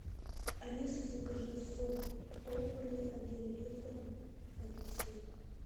алиса закажи сок добрый один литр апельсин